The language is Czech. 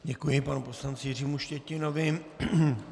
Děkuji panu poslanci Jiřímu Štětinovi.